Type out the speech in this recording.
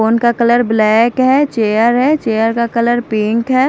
Phone का colour black है chair है चेयर का कलर पिंक है।